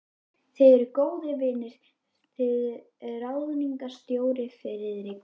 Þið eruð góðir vinir þið ráðningarstjóri, Friðrik